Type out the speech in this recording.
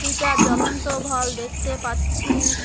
দুইটা জ্বলন্ত ভল দেখতে পাচ্ছি।